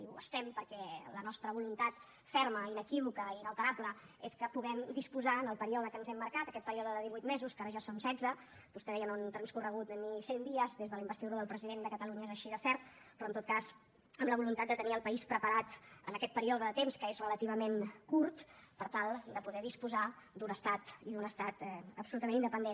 ho estem perquè la nostra voluntat ferma inequívoca inalterable és que puguem disposar en el període que ens hem marcat aquest període de divuit mesos que ara ja són setze vostè deia no han transcorregut ni cent dies des de la investidura del president de catalunya és així de cert però en tot cas amb la voluntat de tenir el país preparat en aquest període de temps que és relativament curt per tal de poder disposar d’un estat i d’un estat absolutament independent